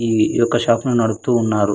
ఈ యొక్క షాపును నడుపుతూ ఉన్నారు.